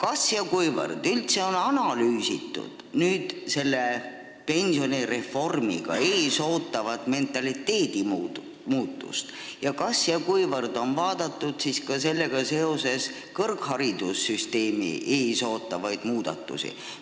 Aga kas on analüüsitud selle pensionireformiga ees ootavat mentaliteedi muutust ja sellega seoses kõrgharidussüsteemi ees ootavaid muudatusi?